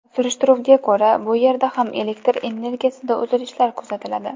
Surishtiruvga ko‘ra, bu yerda ham elektr energiyasida uzilishlar kuzatiladi.